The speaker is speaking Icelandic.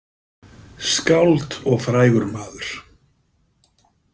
Skáld og frægur maður.